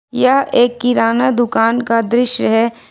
यह एक किराना दुकान का दृश्य है।